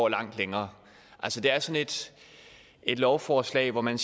længere altså det er sådan et lovforslag hvor man